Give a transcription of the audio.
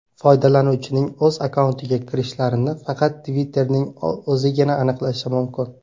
Foydalanuvchining o‘z akkauntiga kirishlarini faqat Twitter’ning o‘zigina aniqlashi mumkin.